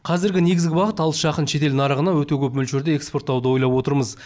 қазіргі негізгі бағыт алыс жақын шетел нарығына өте көп мөлшерде экспорттауды ойлап отырмыз